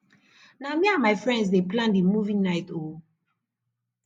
na me and my friends dey plan di movie night o